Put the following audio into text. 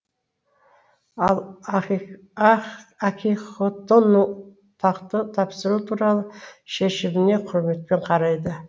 ал акихитоның тақты тапсыру туралы шешіміне құрметпен қарайды